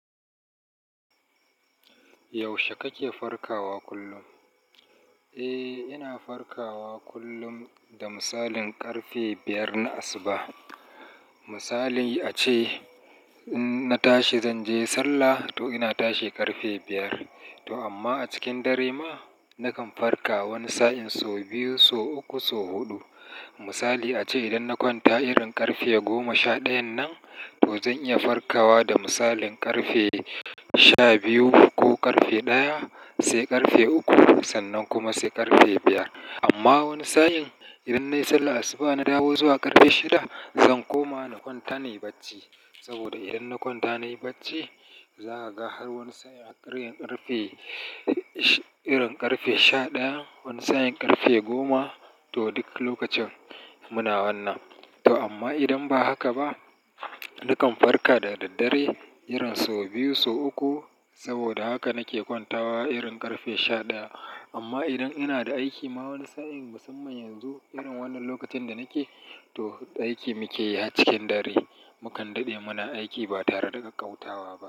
Yaushe kake farkawa kullum? Eh, ina farkawa kullum da misalin ƙarfe biyar na asuba. Misali ace in na tashi zan je sallah, to ina tashi ƙarfe biyar. To amma a cikin dare ma nakan farka wani sa'in so biyu, so uku, so huɗu. Misali ace idan na kwanta irin ƙarfe goma sha ɗayan nan, to zan iya farkawa da misalin ƙarfe sha biyu ko ƙarfe ɗaya, sai ƙarfe uku, sannan kuma sai ƙarfe biyar. Amma wani sa'in idan na yi sallar asuba na dawo zuwa ƙarfe shida, zan koma na kwanta nayi bacci. Saboda idan na kwanta nayi bacci, za a ga har wani sa'in a ƙaryen ƙarfe, irin ƙarfe sha ɗaya, wani sa'in ƙarfe goma to duk lokacin muna wannan. To amma idan ba haka ba, nakan farka da daddare irin so biyu, so uku. Saboda haka nake kwantawa irin ƙarfe sha ɗaya. Amma idan ina da aiki ma wani sa'in, musamman yanzu irin wannan lokacin da nake, to aiki muke yi a cikin dare. Mukan daɗe muna aiki ba tare da ƙauyawa ba.